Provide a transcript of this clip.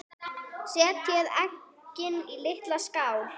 Setjið eggin í litla skál.